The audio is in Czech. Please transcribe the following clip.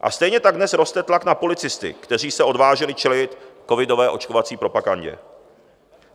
A stejně tak dnes roste tlak na policisty, kteří se odvážili čelit covidové očkovací propagandě.